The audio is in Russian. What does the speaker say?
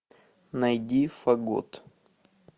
найди фагот